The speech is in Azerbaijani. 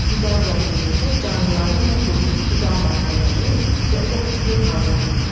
Qida zəncirində canlıların bu qrupu qida maddələri və oksigen hazırlayır.